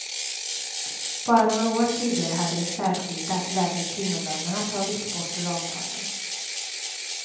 Bara några år tidigare hade de särskilda, lägre kvinnolönerna tagits bort ur avtalen.